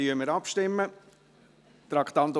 Dannstimmen wir ab.